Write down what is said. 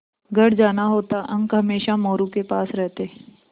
घर जाना होता अंक हमेशा मोरू के पास रहते